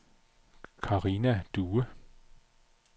Karina Due